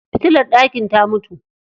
Fitilar ɗakin ta mutu.